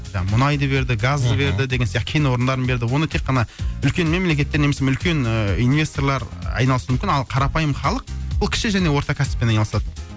мұнайды берді газды берді деген сияқты кен орындарын берді оны тек қана үлкен мемлекетте немесе үлкен инвесторлар айналасуы мүмкін ал қарапайым халық ол кіші және орта кәсіппен айналысады